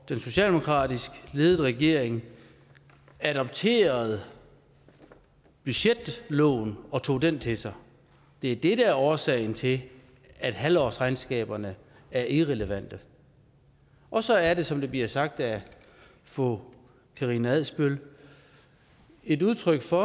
en socialdemokratisk ledet regering adopterede budgetloven og tog den til sig det er det der er årsagen til at halvårsregnskaberne er irrelevante og så er det som det blev sagt af fru karina adsbøl et udtryk for